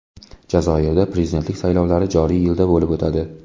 Jazoirda prezidentlik saylovlari joriy yilda bo‘lib o‘tadi.